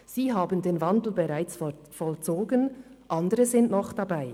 Sie haben den Wandel bereits vollzogen, andere sind noch dabei.